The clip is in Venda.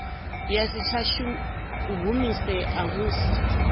ya si tsha humisea musi